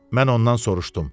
Mən ondan soruşdum.